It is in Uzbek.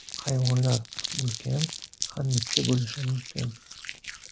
Hayvonlar ham ulkan, ham mitti bo‘lishi mumkin.